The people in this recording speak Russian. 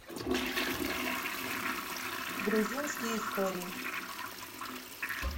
грузинские истории